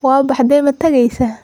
Waabaxde, matageysa?